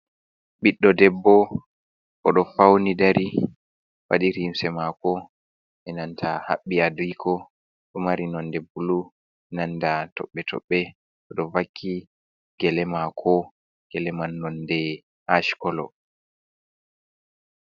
Ɓiɗɗo debbo, oɗo fawni dari, waɗi limse maako e nanta haɓɓi adiiko ɗo mari nonde bulu, nanta toɓɓe-toɓɓe, oɗo vakki gele maako, gele man nonde ach kolo.